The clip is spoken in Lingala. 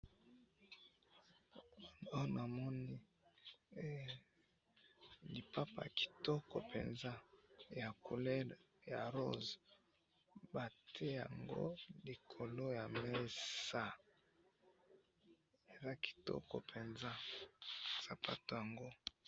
awa na moni lipapa yakitoko penza ya couleur ya rose ba tie yango likolo ya mesa eza kitoko penza sapatu yango